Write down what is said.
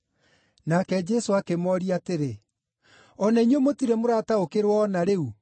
Nake Jesũ akĩmooria atĩrĩ, “O na inyuĩ mũtirĩ mũrataũkĩrwo o na rĩu?